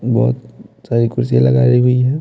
बहुत सारी कुर्सी लगाई हुई है।